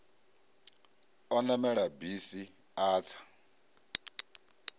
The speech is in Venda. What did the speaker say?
o namela bisi a tsa